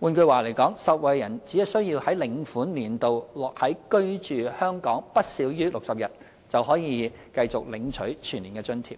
換句話說，受惠人只需在領款年度內居港不少於60天，便可領取全年津貼。